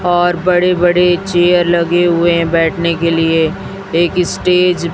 और बड़े बड़े चेयर लगे हुए है बैठने के लिए एक स्टेज --